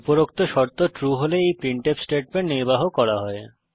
উপরোক্ত শর্ত ট্রু হলে এই প্রিন্টফ স্টেটমেন্ট নির্বাহ করা হয়